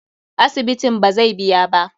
Asibitin bazai biya ba.